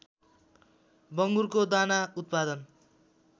बङ्गुरको दाना उत्पादन